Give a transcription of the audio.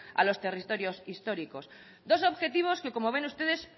a los territorios históricos dos objetivos que como ven ustedes